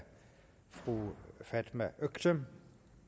fru fatma øktem